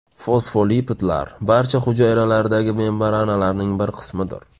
Fosfolipidlar barcha hujayralardagi membranalarning bir qismidir.